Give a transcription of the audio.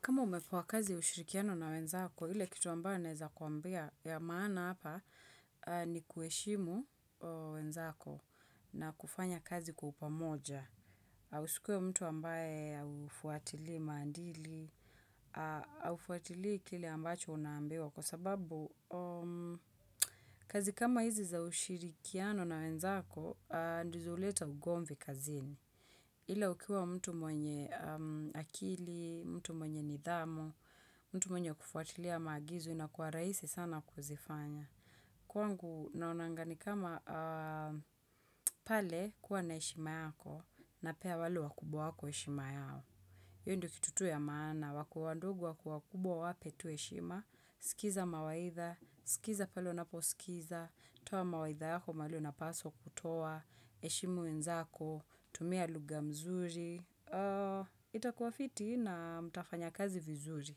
Kama umepewa kazi ushirikiano na wenzako, ile kitu ambae nezakuambia ya maana hapa ni kueshimu wenzako na kufanya kazi kwa upamoja. Usikuwe mtu ambae ufuatili mandili, ufuatili kile ambacho unaambiwa kwa sababu kazi kama hizi za ushirikiano na wenzako, ndizo uleta ugomvi kazini. Ila ukiwa mtu mwenye akili, mtu mwenye nidhamu, mtu mwenye kufuatilia maagizo inakuwa raisi sana kuzifanya. Kwangu naonanga ni kama pale kuwa na heshima yako napea wale wakubwa wako ishima yao. Iyo ndo kitu tu ya maana, wakuandugwa kuwa kubo wape tuishima, sikiza mawaitha, sikiza palo napo sikiza, toa mawaitha yako mali unapaso kutoa, eshimu unzako, tumia luga mzuri, itakuafiti na mtafanya kazi vizuri.